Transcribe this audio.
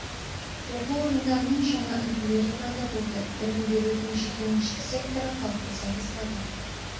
оқу орындарының жаңа үлгілері пайда болды білім берудің жекеменшік секторы қалыптаса бастады